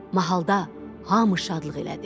Mahalda hamı şadlıq elədi.